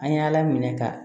An ye ala minɛ ka